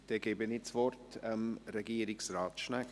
Ich gebe das Wort Regierungsrat Schnegg.